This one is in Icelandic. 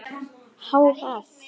Há eff.